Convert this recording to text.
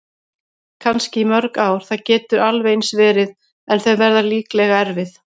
Kannski í mörg ár, það getur alveg eins verið- en þau verða líklega erfið.